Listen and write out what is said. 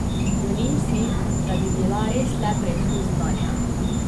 Želim si, da bi bila res le preizkus znanja.